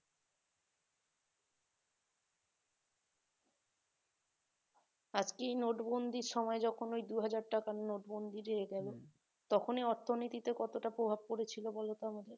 আজকেই নোট বন্দীর সময় যখন ওই দুহাজার টাকার নোট বন্দী হয়ে তখন অর্থনীতিতে কতটা প্রভাব পড়েছিল বলতো আমাকে